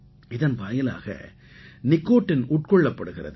இதன் வாயிலாக நிக்கோட்டின் உட்கொள்ளப்படுகிறது